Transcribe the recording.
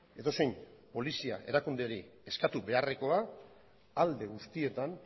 edozein polizia erakunderi eskatu beharrekoa alde guztietan